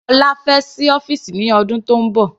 Ọlá fẹ́ sí ọ́fìsì ní ọdún tónbọ̀.